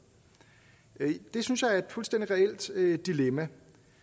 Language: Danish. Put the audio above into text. det synes jeg er et fuldstændig reelt dilemma